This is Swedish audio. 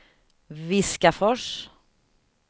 Viskafors